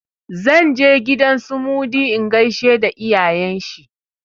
Zan je gidan su Mudi in gaishe da iyayen shi.